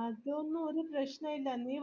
അതൊന്നും ഒര് പ്രശ്നായില്ല നീ